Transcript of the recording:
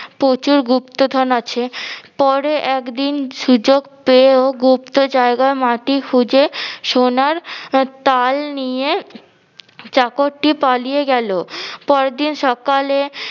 প্রচুর গুপ্তধন আছে। পরে একদিন সুযোগ পেয়েও গুপ্ত জায়গায় মাটি খুঁজে সোনার তাল নিয়ে চাকরটি পালিয়ে গেলো পরদিন সকালে